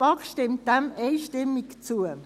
Die BaK stimmt diesem einstimmig zu.